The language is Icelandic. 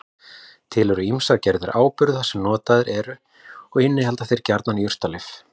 Til eru ýmsar gerðir áburða sem notaðir eru og innihalda þeir gjarnan jurtalyf.